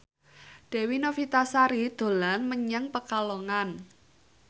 Dewi Novitasari dolan menyang Pekalongan